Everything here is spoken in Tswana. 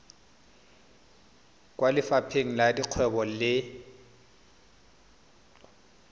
kwa lefapheng la dikgwebo le